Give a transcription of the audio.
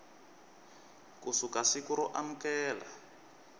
ku suka siku ro amukela